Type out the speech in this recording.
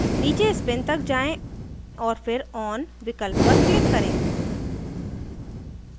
नीचे spin तक जाएँ और फिर on विकल्प पर click करें